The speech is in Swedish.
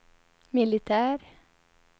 militär